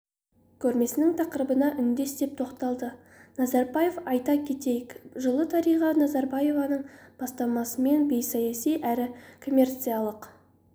көрмесінің тақырыбына үндес деп тоқталды назарбаев айта кетейік жылы дариға назарбаеваның бастамасымен бейсаяси әрі коммерциялық